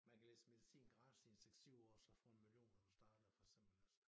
Man kan læse medicin gratis i en 6 7 år og så få en million når du starter for eksempel også